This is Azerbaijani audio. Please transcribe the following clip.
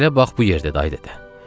Məsələ bax bu yerdədir ay dədə.